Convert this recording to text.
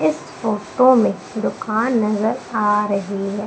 इस फोटो में दुकान नजर आ रही है।